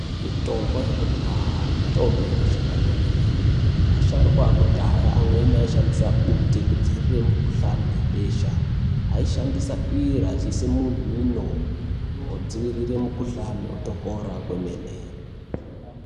Mitombo yekudhaya mitombo inoshanda kwemene asharukwa ekudhaya amweni aishandisa Bute kudzivirira mukuhlani webesha aishandisa iro vachiisa mumhuno kudzivirira mukuhlani otopora kwemene.